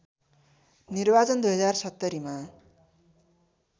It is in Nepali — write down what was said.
निर्वाचन २०७० मा